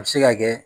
A bɛ se ka kɛ